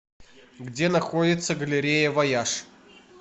где находится галерея вояж